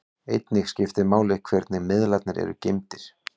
Einnig skiptir máli hvernig miðlarnir eru geymdir.